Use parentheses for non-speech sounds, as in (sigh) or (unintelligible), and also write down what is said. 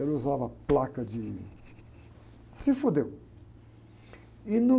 Ele usava placa de... Se. (unintelligible) E no